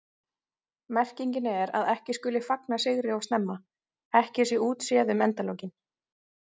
Merkingin er að ekki skuli fagna sigri of snemma, ekki sé útséð um endalokin.